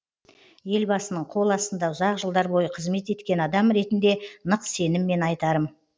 елбасының қол астында ұзақ жылдар бойы қызмет еткен адам ретінде нық сеніммен айтарым